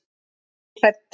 Ég er hrædd.